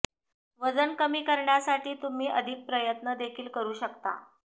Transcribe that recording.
वजन कमी करण्यासाठी तुम्ही अधिक प्रयत्न देखील करू शकता